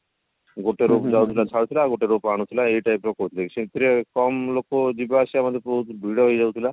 ଗୋଟେ rope ଯାଉଥିଲା ଛାଡୁଥିଲା ଆଉ ଗୋଟେ rope ଆଣୁଥିଲା ଏଇ type ର କରୁଥିଲେ ସେଥିରେ କମ ଲୋକ ଯିବା ଆସିବା ମଧ୍ୟ ବହୁତ ଭିଡ ହେଇଯାଉଥିଲା